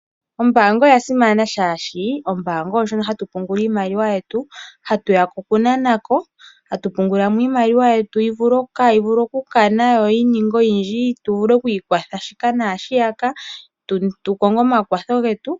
Ombaanga oya simana oshoka ombaanga oyo ndjono hatu pungula iimaliwa yetu ,hatuyako okunanako, hatu pungulamo iimaliwa yetu kayi vule okukana yo yininge oyindji tuvule oku ikwatha shika naashiyaka tukonge omakwatho getu.